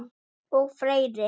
Og fleiri